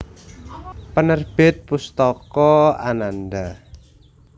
Penerbit Pustaka Ananda